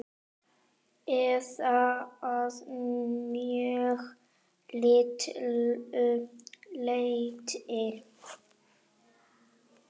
Eða að mjög litlu leyti.